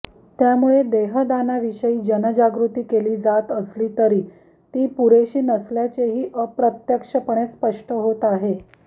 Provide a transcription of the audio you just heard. त्यामुळे देहदानाविषयी जनजागृती केली जात असली तरी ती पुरेशी नसल्याचेही अप्रत्यक्षपणे स्पष्ट होत आहे